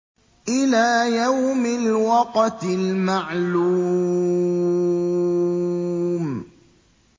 إِلَىٰ يَوْمِ الْوَقْتِ الْمَعْلُومِ